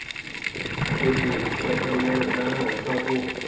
leswi swa vahlengani swa ku